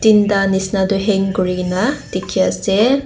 tinta bisna tu hang kori kina dekhi ase.